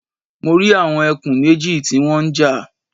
Mo rí àwọn ẹkùn méjì tí wọ́n ń jà